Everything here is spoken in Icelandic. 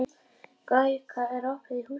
Gaukur, er opið í Húsasmiðjunni?